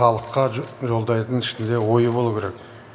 халыққа жолдайтын ішінде ойы болуы керек